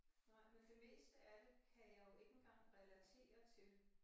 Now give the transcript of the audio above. Nej men det meste af det kan jeg jo ikke engang relatere til